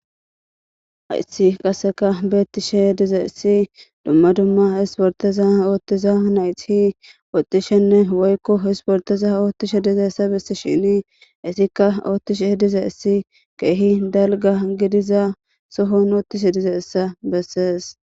Haissi qaseka beettishe diza issi dumma dumma isporteza oottiza nayti ootishenne woykko hisporteza oottishe diza issa bessi shini isikka oottishe diza issi keehi dalga gidiza sohon oottishe diza issa bessees